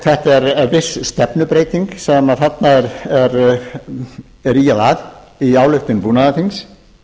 þetta er viss stefnubreyting sem þarna er ýjað að í ályktun búnaðarþings